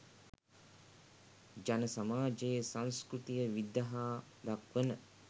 ජන සමාජයේ සංස්කෘතිය විදහා දක්වන